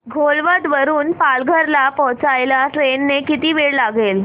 घोलवड वरून पालघर ला पोहचायला ट्रेन ने किती वेळ लागेल